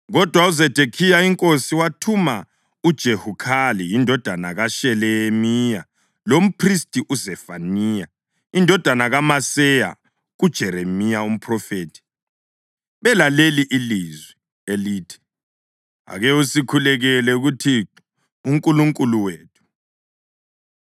Kodwa uZedekhiya inkosi, wathuma uJehukhali indodana kaShelemiya lomphristi uZefaniya indodana kaMaseya kuJeremiya umphrofethi belaleli ilizwi, elithi, “Ake usikhulekele kuThixo uNkulunkulu wethu.”